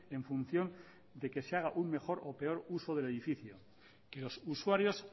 en función de que se haga un mejor o peor uso del edificio que los usuarios